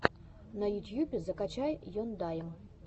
на ютьюбе закачай ендайм